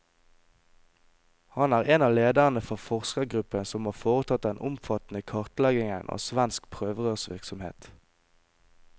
Han er en av lederne for forskergruppen som har foretatt den omfattende kartleggingen av svensk prøverørsvirksomhet.